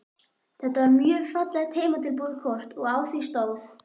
Þetta var mjög fallegt heimatilbúið kort og á því stóð